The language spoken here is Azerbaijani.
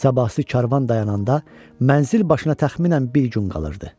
Sabahsı karvan dayananda mənzil başına təxminən bir gün qalırdı.